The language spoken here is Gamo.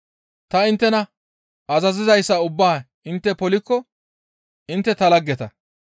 Ta inttena azazizayssa ubbaa intte polikko intte ta laggeta.